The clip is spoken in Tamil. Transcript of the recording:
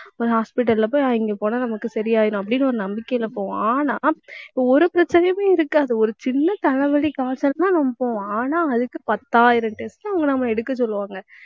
ஒரு hospital ல போய் இங்க போனா நமக்கு சரியாயிரும் அப்படின்னு ஒரு நம்பிக்கையில போவோம். ஆனா ஒரு பிரச்சனையுமே இருக்காது. ஒரு சின்னத் தலைவலி காய்ச்சலுக்குத்தான் நாம போவோம். ஆனா அதுக்கு பத்தாயிரம் test அவங்க நம்ம எடுக்க சொல்லுவாங்க